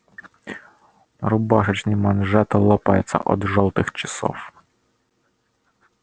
рубашечный манжет лопается от жёлтых часов